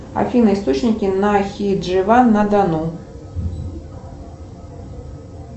афина источники нахидживан на дону